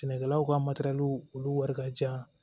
Sɛnɛkɛlaw ka olu wari ka jan